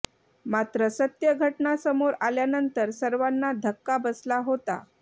मात्र सत्य घटना समोर आल्यानंतर सर्वांना धक्का बसला होता